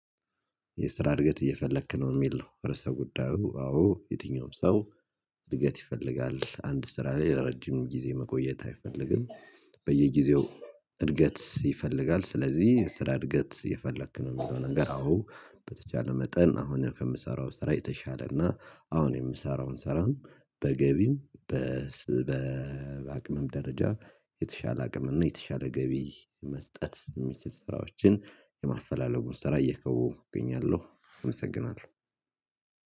የስራ እድገት እየፈለክ ነው የሚል ነው? ርዕሰ ጉዳዩ አዎ የትኛውም ሰው እድገት ይፈልጋል አንድ ስራ ላይ ለረጅም ጊዜ መቆየት አይፈልግም። በየጊዜው እድገት ይፈልጋል። ስለዚህ የስራ እድገት የፈለክ ነው የሚለው ነገር። አዎ በተቻለ መጠን አሁን ከምሰራው ስራ የተሻለ እና አሁን የምሰራውን ሰራን በገቢም በስበብ አቅምም ደረጃ የተሻለ አቅም እና የተሻለ ገቢ መስጠት የሚችል ስራዎችን የማፈላለጉን ስራ እየከወንኩኝ እገኛለሁ። አመሰግናለሁ